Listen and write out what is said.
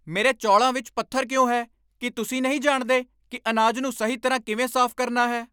ਮੇਰੇ ਚੌਲਾਂ ਵਿੱਚ ਪੱਥਰ ਕਿਉਂ ਹੈ? ਕੀ ਤੁਸੀਂ ਨਹੀਂ ਜਾਣਦੇ ਕਿ ਅਨਾਜ ਨੂੰ ਸਹੀ ਤਰ੍ਹਾਂ ਕਿਵੇਂ ਸਾਫ਼ ਕਰਨਾ ਹੈ??